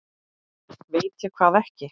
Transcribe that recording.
Veit ég hvað ekki?